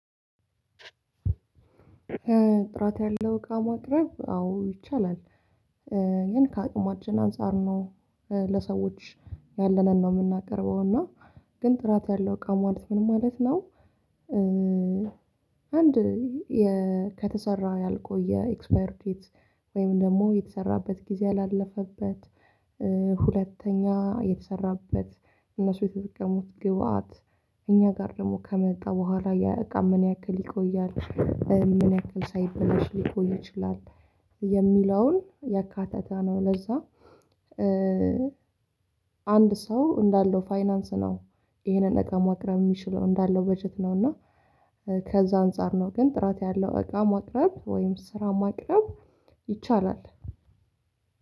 ጥራት ያለው እቃ ማቅረብ አዎ ይቻላል። ግን ከአቅማችን አንፃር ነው ለሰዎች ያለንን ነው የምናቀርበው እና ግን ጥራት ያለው እቃ ማቅረብ ምን ማለት ነው? አንድ የ ከተሰራ ያልቆየ ኤክስፓየር ዴት ወይም ደግሞ የተሰራበት ጊዜ ያላለፈበት ሁለተኛ የተሰራበት እነሱ የተጠቀሙት ግብአት እኛ ጋር ደግሞ ከመጣ በኋላ የእቃን ምን ያክል ይቆያል? ምን ያክል ሳይበላሽ ሊቆይ ይችላል? የሚለውን ያካተታ ነው። ለዛ አንድ ሰው እንዳለው ፋይናንስ ነው ይሄንን ነገር ማቅረብ የሚችለው። እንዳለው በጀት ነውና ከዛ አንፃር ነው ግን ጥራት ያለው እቃ ማቅረብ ወይም ስራ ማቅረብ ይቻላል።